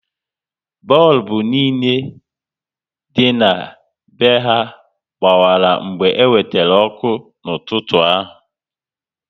Bọlbụ niile dị na be ha gbawara mgbe e wetere ọkụ n'ụtụtụ a